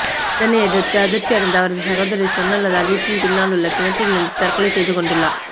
இதனையடுத்து அதிர்ச்சியடைந்த அவரது சகோதரி சுவர்ணலதா வீட்டின் பின்னாலுள்ள கிணற்றில் வீழ்ந்து தற்கொலை செய்து கொண்டுள்ளார்